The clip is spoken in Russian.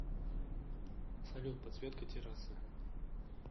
салют подсветка террасы